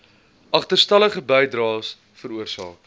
agterstallige bydraes veroorsaak